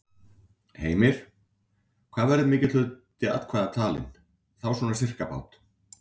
Heimir: Hvað verður mikill hluti atkvæða talinn, þá svona sirkabát?